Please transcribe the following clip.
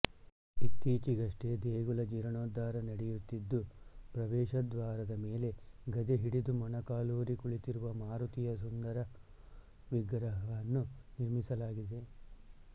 ಇತ್ತೀಚೆಗಷ್ಟೆ ದೇಗುಲದ ಜೀರ್ಣೋದ್ಧಾರ ನಡೆಯುತ್ತಿದ್ದು ಪ್ರವೇಶದ್ವಾರದ ಮೇಲೆ ಗದೆ ಹಿಡಿದು ಮೊಣಕಾಲೂರಿ ಕುಳಿತಿರುವ ಮಾರುತಿಯ ಸುಂದರ ವಿಗ್ರಹವನ್ನು ನಿರ್ಮಿಸಲಾಗಿದೆ